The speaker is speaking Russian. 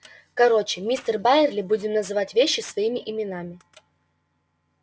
короче мистер байерли будем называть вещи своими именами